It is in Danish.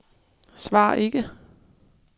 svar ikke